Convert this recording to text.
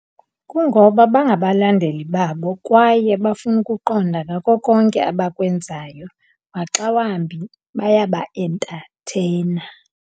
Kungoba bangabalandeli babo kwaye bafuna ukuqonda ngako konke abakwenzayo maxa wambi bayabaentatheyina.